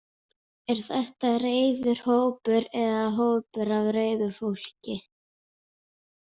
Er þetta reiður hópur eða hópur af reiðu fólki?